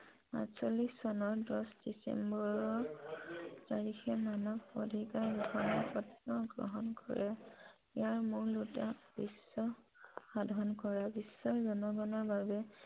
এক হাজাৰ নশ চল্লিশ আঠ চনৰ দহ ডিচেম্বৰৰ তাৰিখে মানৱ অধিকাৰ গ্ৰহন কৰে । বিশ্বৰ জনগনৰ বাবে